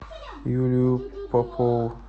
юлию попову